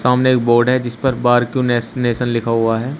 सामने एक बोर्ड है जिस पर बार क्यू नेश नेशन लिखा हुआ है।